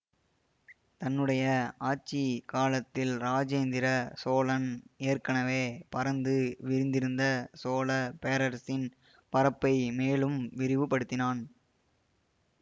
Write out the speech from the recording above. தன்னுடைய ஆட்சி காலத்தில் இராஜேந்திர சோழன் ஏற்கனவே பரந்து விரிந்திருந்த சோழ பேரரசின் பரப்பை மேலும் விரிவுபடுத்தினான்